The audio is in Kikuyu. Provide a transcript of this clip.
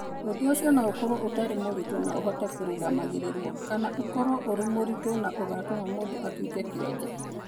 Ũndũ ũcio no ũkorũo ũtarĩ mũritũ na ũhote kũrũgamagĩrĩrũo, kana ũkorũo ũrĩ mũritũ na ũgatũma mũndũ atuĩke kĩonje.